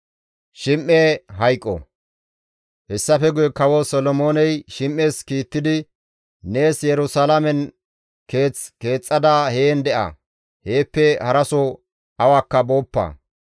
Hessafe guye Kawo Solomooney Shim7es kiittidi, «Nees Yerusalaamen keeth keexxada heen de7a; heeppe haraso awakka booppa.